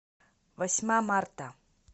восьма марта